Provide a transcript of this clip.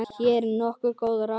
Hér eru nokkur góð ráð.